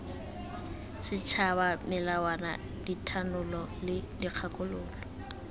setšhaba melawana dithanolo le dikgakololo